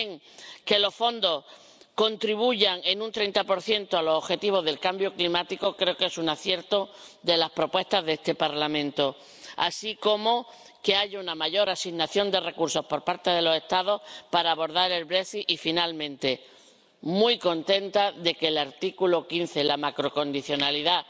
También que los fondos contribuyan en un 30 a los objetivos de la lucha contra el cambio climático creo que es un acierto de las propuestas de este Parlamento, así como que haya una mayor asignación de recursos por parte de los Estados para abordar el Brexit y finalmente muy contenta de que el artículo 15, la macrocondicionalidad